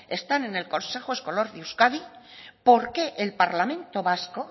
están en el consejo escolar de euskadi por qué el parlamento vasco